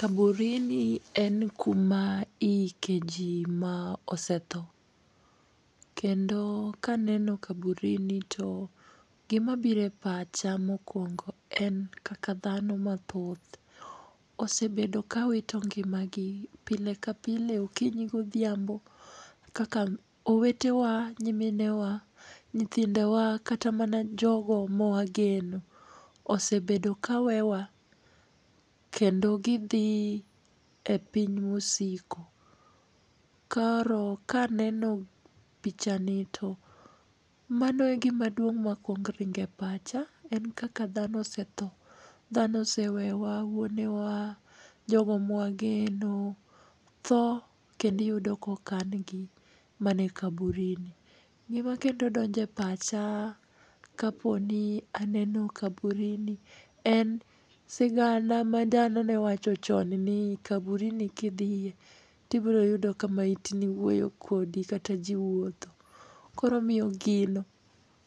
Kaburini en kuma iyikeji ma osetho. Kendo ka aneno kaburini to gima biro e pacha mokongo en kaka dhano mathoth osebedo kawito ngimagi pile ka pile okinyi godhiambo. Kaka owetewa, nyiminewa, nyithindewa kata mana jogo mawageno osebedo ka weyo wa kendo gidhi e piny mosiko. Koro kaneno pichani to mano e gima duong' ma kuongo ringo e pacha en kaka dhano osetho. Dhano osewewa, wuonewa, jogo ma wageno, tho kendo yudo ka okan gi mana e kaburini. Gima kendo donjo e pacha ka poni aneno kaburini, en sigana ma dhano ne wacho chon ni kaburini kidhiye to ibiro yudo ka maitni wuoyo kodi kataji wuotho koro omiyo gino